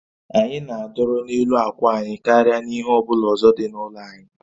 Anyị na-adọrọ n'elu akwa anyị karịa n'ihe ọ bụla ọzọ dị n'ụlọ anyị